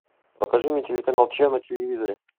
покажи мне телеканал че на телевизоре